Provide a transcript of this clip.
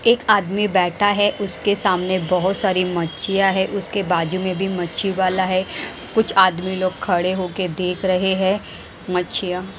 एक आदमी बैठा है उसके सामने बहुत सारी मच्छियां है उसके बाजू में भी मच्छी वाला है कुछ आदमी लोग खड़े होकर देख रहे हैं मच्छिया।